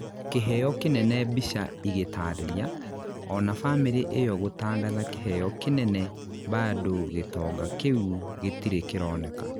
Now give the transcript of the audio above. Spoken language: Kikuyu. kĩheo kĩnene mbica igĩtarĩria, ona bamĩrĩ iyo gũtangatha kĩheo kĩnene bado gĩtonga kĩu gĩtire kĩroneka.